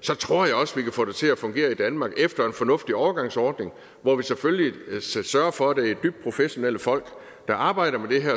så tror jeg også vi kan få det til at fungere i danmark efter en fornuftig overgangsordning hvor vi selvfølgelig skal sørge for at det er dybt professionelle folk der arbejder med det her